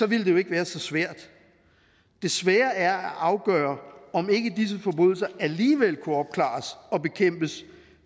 ville det jo ikke være så svært det svære er at afgøre om ikke disse forbrydelser alligevel kunne opklares og bekæmpes